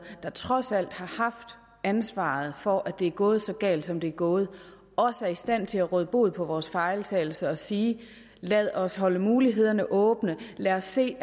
der trods alt har haft ansvaret for at det er gået så galt som det er gået også er i stand til at råde bod på vores fejltagelser og sige lad os holde mulighederne åbne lad os se